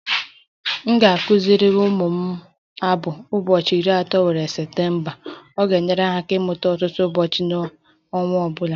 M ga-akụziri ụmụ m abụ "ụbọchị iri atọ nwere Septemba ..." Ọ ga-enyere ha aka ịmata ọtụtụ ụbọchị n'ọnwa ọ bụla.